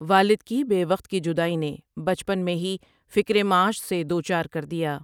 والد کی بے وقت کی جدائی نے بچپن میں ہی فکر معاش سے دو چار کر دیا ۔